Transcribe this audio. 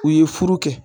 U ye furu kɛ